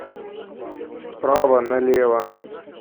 право налево